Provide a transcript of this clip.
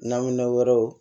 Naminɛn wɛrɛw